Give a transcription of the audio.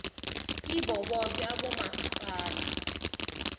kibo boke abomasipala